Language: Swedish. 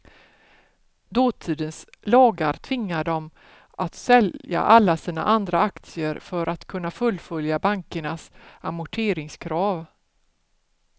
Dåtidens lagar tvingade dem att sälja alla sina andra aktier för att kunna fullfölja bankernas amorteringskrav.